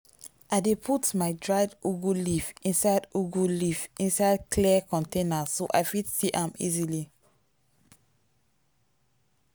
i dey put my dried ugu leaf inside ugu leaf inside clear container so i fit see am easily.